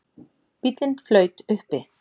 Bíllinn flaut uppi